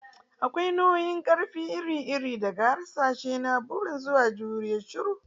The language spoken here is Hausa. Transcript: Akwai nau'ikan ƙarfi iri-iri iri-iri, daga hasashe na buri zuwa juriyar shiru.